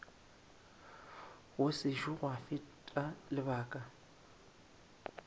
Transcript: go sešo gwa feta lebaka